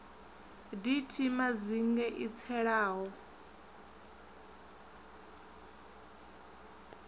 d t madzinge i tselaho